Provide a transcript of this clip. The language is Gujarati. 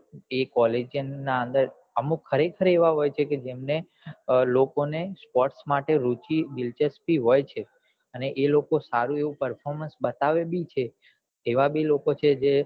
કે college ના અંદર અમુક ખરેખર એવા હોય છે કે અમને લોકો ને sports માટે રૂચી દિલચસ્પી હોય છે એ લોકો સારું આવું performance બતાવે બી છે એવા બી લોકો છે જે